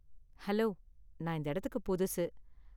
Hello, நான் இந்த இடத்துக்கு புதுசு.